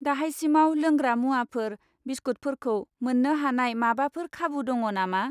दाहायसिमाव लोंग्रा मुवाफोर, बिस्कुटफोरखौ मोन्नो हानाय माबाफोर खाबु दङ नामा?